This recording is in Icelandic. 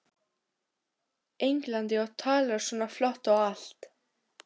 Englandi og talar svona flott og allt.